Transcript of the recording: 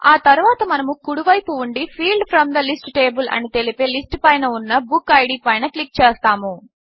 ఆ తరువాత మనము కుడి వైపు ఉండి field from the list table అని తెలిపే లిస్ట్ పైన ఉన్న బుక్కిడ్ పైన క్లిక్ చేస్తాము